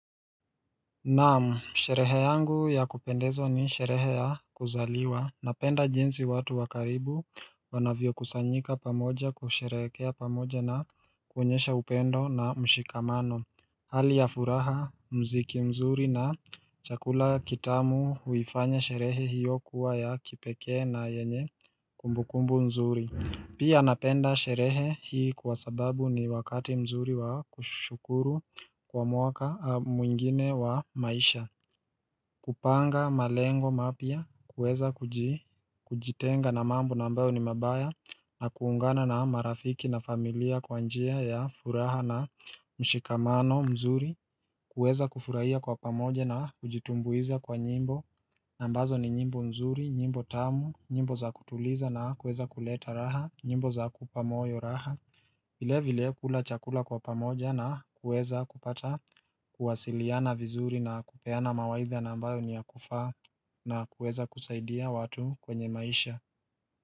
Naam, sherehe yangu ya kupendezwa ni sherehe ya kuzaliwa, napenda jinsi watu wakaribu wanavyo kusanyika pamoja kusherekea pamoja na kuonyesha upendo na mshikamano Hali ya furaha mziki mzuri na chakula kitamu huifanya sherehe hiyo kuwa ya kipekee na yenye kumbukumbu mzuri Pia napenda sherehe hii kwa sababu ni wakati mzuri wa kushukuru kwa mwaka mwingine wa maisha kupanga malengo mapya, kuweza kujitenga na mambo na ambayo ni mabaya na kuungana na marafiki na familia kwa njia ya furaha na mshikamano mzuri kuweza kufurahia kwa pamoja na kujitumbuiza kwa nyimbo na ambazo ni nyimbo mzuri, nyimbo tamu, nyimbo za kutuliza na kuweza kuleta raha nyimbo za kupamoyo raha vile vile kula chakula kwa pamoja na kuweza kupata kuwasiliana vizuri na kupeana mawaidha nambayo niyakufaa na kuweza kusaidia watu kwenye maisha.